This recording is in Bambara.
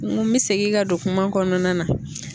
N ko n bɛ segin ka don kuma kɔnɔna na